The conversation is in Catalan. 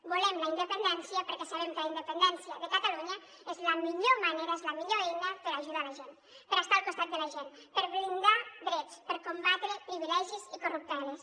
volem la independència perquè sabem que la independència de catalunya és la millor manera és la millor eina per ajudar la gent per estar al costat de la gent per blindar drets per combatre privilegis i corrupteles